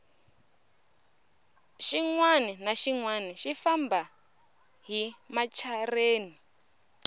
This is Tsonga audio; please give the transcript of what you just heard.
xinwani na xinwani xi famba hi machereni